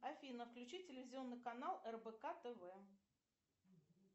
афина включи телевизионный канал рбк тв